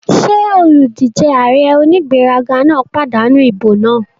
Ṣé olùdíjé ààrẹ onígbéraga náà pàdánù ìbò náà?